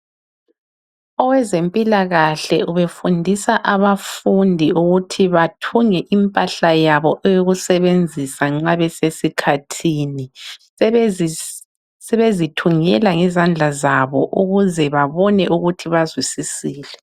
Owezempilakahle ubefundisa abafundi ukuthi bathunge impahla yabo eyokusebenzisa nxa besesikhathini. Sebezithungela ngezandla zabo ukuze babone ukuthi bazwisisile.